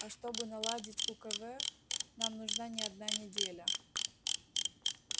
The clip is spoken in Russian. а чтобы наладить у к в нам нужна не одна неделя